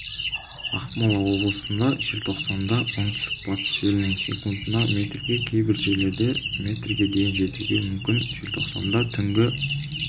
ақмола облысында желтоқсанда оңтүстік-батыс желінің секундына метрге кейбір жерлерде метрге дейін жетуі мүмкін желтоқсанда түнгі